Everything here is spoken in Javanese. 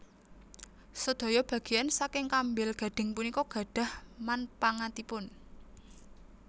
Sedaya bageyan saking kambil gading punika gadhah manpangatipun